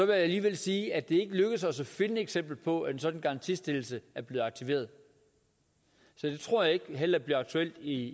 jeg alligevel sige at det ikke er lykkedes os at finde et eksempel på at en sådan garantistillelse er blevet aktiveret så det tror jeg heller ikke bliver aktuelt i